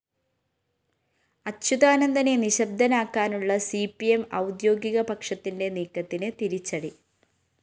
അച്യുതാനന്ദനെ നിശബ്ദനാക്കാനുള്ള C P M ഔദ്യോഗിക പക്ഷത്തിന്റെ നീക്കത്തിന് തിരിച്ചടി